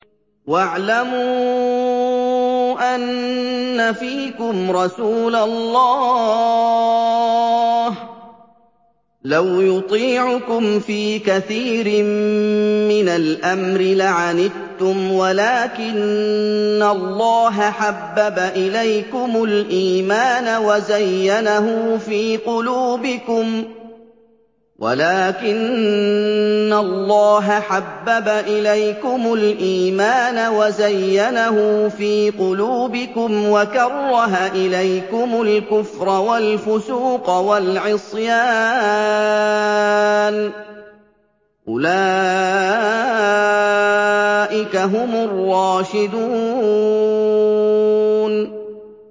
وَاعْلَمُوا أَنَّ فِيكُمْ رَسُولَ اللَّهِ ۚ لَوْ يُطِيعُكُمْ فِي كَثِيرٍ مِّنَ الْأَمْرِ لَعَنِتُّمْ وَلَٰكِنَّ اللَّهَ حَبَّبَ إِلَيْكُمُ الْإِيمَانَ وَزَيَّنَهُ فِي قُلُوبِكُمْ وَكَرَّهَ إِلَيْكُمُ الْكُفْرَ وَالْفُسُوقَ وَالْعِصْيَانَ ۚ أُولَٰئِكَ هُمُ الرَّاشِدُونَ